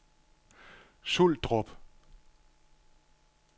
Suldrup